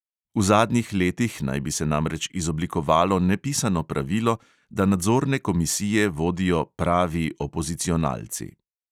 V zadnjih letih naj bi se namreč izoblikovalo nepisano pravilo, da nadzorne komisije vodijo "pravi" opozicionalci.